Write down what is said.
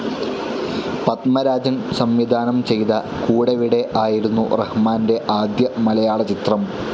പത്മരാജൻ സംവിധാനം ചെയ്ത കൂടെവിടെ ആയിരുന്നു റഹ്മാൻ്റെ ആദ്യ മലയാളചിത്രം.